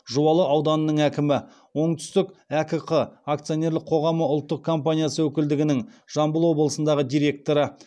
жуалы ауданының әкімі оңтүстік әкк ақ ұк өкілдігінің жамбыл облысындағы директоры